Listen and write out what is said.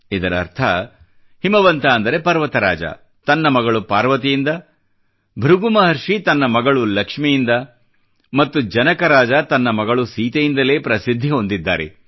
ಇದರರ್ಥ ಹಿಮವಂತ ಅಂದರೆ ಪರ್ವತರಾಜ ತನ್ನ ಮಗಳು ಪಾರ್ವತಿಯಿಂದ ಭೃಗು ಮಹರ್ಷಿ ತನ್ನ ಮಗಳು ಲಕ್ಷ್ಮಿಯಿಂದ ಮತ್ತು ಜನಕ ರಾಜ ತನ್ನ ಮಗಳು ಸೀತೆಯಿಂದಲೇ ಪ್ರಸಿದ್ಧಿ ಹೊಂದಿದ್ದಾರೆ